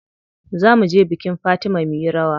Za muje bikin Fatima muyi rawa.